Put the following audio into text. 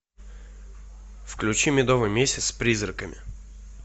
включи медовый месяц с призраками